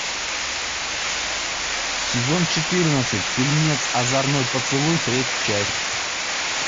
сезон четырнадцать фильмец озорной поцелуй третья часть